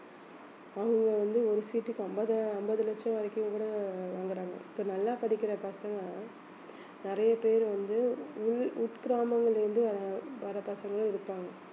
அங்க வந்து ஒரு seat க்கு ஐம்பது ஐம்பது லட்சம் வரைக்கும் கூட வாங்கறாங்க இப்ப நல்லா படிக்கிற பசங்க நிறைய பேர் வந்து உள் உட்கிராமங்கள்ல இருந்து அஹ் வர்ற பசங்க இருப்பாங்க